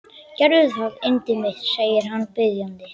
Gerðu það, yndið mitt, segir hann biðjandi.